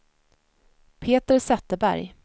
Peter Zetterberg